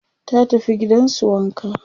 ta tafi gidansu wanka